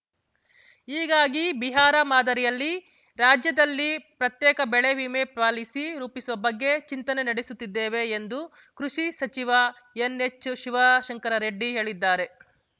ಹೀಗಾಗಿ ಬಿಹಾರ ಮಾದರಿಯಲ್ಲಿ ರಾಜ್ಯದಲ್ಲಿ ಪ್ರತ್ಯೇಕ ಬೆಳೆ ವಿಮೆ ಪಾಲಿಸಿ ರೂಪಿಸುವ ಬಗ್ಗೆ ಚಿಂತನೆ ನಡೆಸುತ್ತಿದ್ದೇವೆ ಎಂದು ಕೃಷಿ ಸಚಿವ ಎನ್‌ಎಚ್‌ ಶಿವಶಂಕರರೆಡ್ಡಿ ಹೇಳಿದ್ದಾರೆ